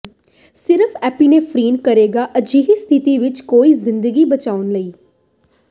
ਸਿਰਫ ਏਪੀਨੇਫ੍ਰੀਨ ਕਰੇਗਾ ਅਜਿਹੀ ਸਥਿਤੀ ਵਿਚ ਕੋਈ ਜ਼ਿੰਦਗੀ ਬਚਾਉਣ ਲਈ